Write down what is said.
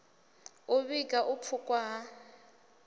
u vhiga u pfukhwa ha